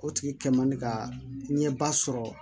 O tigi kɛ man di ka ɲɛ ba sɔrɔ